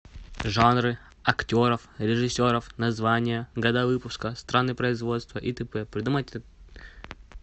жанры актеров режиссеров названия года выпуска страны производства и т п придумать